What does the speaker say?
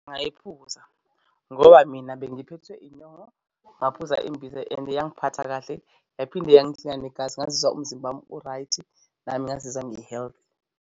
Ngayiphuza ngoba mina bengiphethwe inyongo ngaphuza imbiza and yangiphatha kahle yaphinde yangiklina negazi. Ngazizwa umzimba wami u-right, nami ngazizwa ngi-healthy.